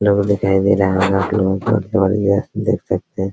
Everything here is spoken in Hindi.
दिखाई दे रहा होगा आप लोगों को है देख सकते हैं।